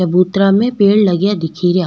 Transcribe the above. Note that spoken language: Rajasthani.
चबूतरा में पेड़ लगया दिखेरा।